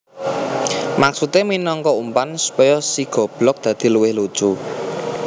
Maksudé minangka umpan supaya si goblog dadi luwih lucu